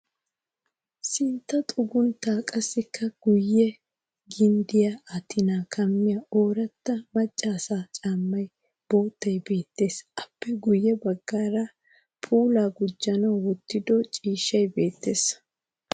Sintta xugunttaa qassikka guyye ginddiyaa attinnan kammiya ooratta macca asaa caammay boottay beettes. Appe guyye baggaara puulaa gujjanawu wottido ciishshay beettes.